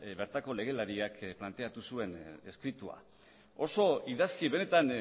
bertako legelariak planteatu zuen eskritua oso idazki benetan